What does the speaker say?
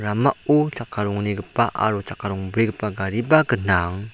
ramao chakka ronggnigipa aro chakka rongbrigipa gariba gnang.